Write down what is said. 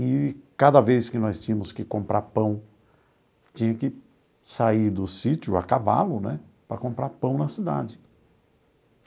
E cada vez que nós tínhamos que comprar pão, tinha que sair do sítio a cavalo né para comprar pão na cidade.